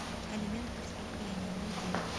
элемент преступления найди